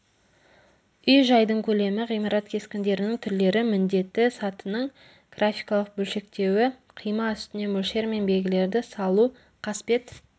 үй-жайдың көлемі ғимарат кескіндерінің түрлері міндеті сатының графикалық бөлшектеуі қима үстіне мөлшер мен белгілерді салу қасбет